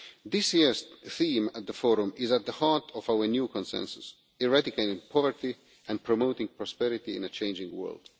This year's theme at the Forum is at the heart of our new consensus eradicating poverty and promoting prosperity in a changing world.